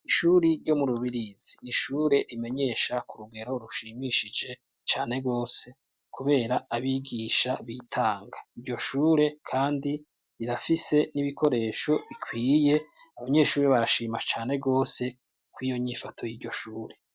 Ishuri ryo mu rubirizi ni ishure rimenyesha ku rugero rushimishije cane rwose, kubera abigisha bitanga iryo shure, kandi rirafise n'ibikoresho bikwiye abanyeshuri bashima cane rwose ko iyo nyifoto y'iryo shure.